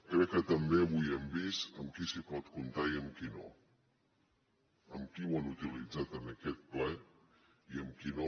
crec que també avui hem vist amb qui s’hi pot comptar i amb qui no qui ho ha utilitzat en aquest ple i qui no